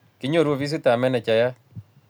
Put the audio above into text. kinyoru ofisitab menejayat